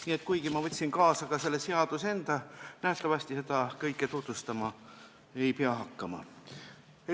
Nii et kuigi ma võtsin kaasa selle seaduse enda, ei pea ma nähtavasti seda kõike tutvustama hakkama.